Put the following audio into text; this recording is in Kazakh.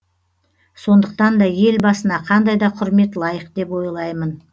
сондықтан да елбасына қандай да құрмет лайық деп ойлаймын